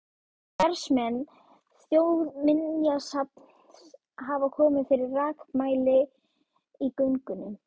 Starfsmenn Þjóðminjasafns hafa komið fyrir rakamæli í göngunum.